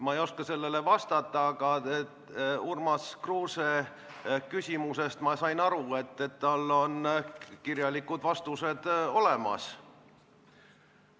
Ma ei oska sellele vastata, aga Urmas Kruuse küsimusest sain ma aru nii, et temal on kirjalikud vastused olemas.